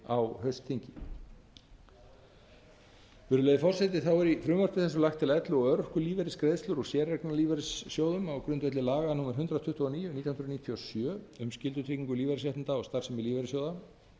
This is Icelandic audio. á haustþingi virðulegi forseti þá er í frumvarpi þessu lagt til að elli og örorkulífeyrisgreiðslur úr séreignarlífeyrissjóðum á grundvelli laga númer hundrað tuttugu og níu nítján hundruð níutíu og sjö um skyldutryggingu lífeyrisréttinda og starfsemi lífeyrissjóða